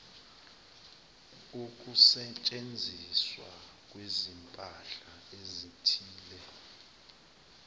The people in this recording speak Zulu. ukusetshenziswa kwezimpahla ezithile